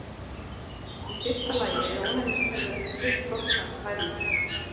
Í fyrsta lagi er ónæmiskerfið ekki fullþroskað við fæðingu.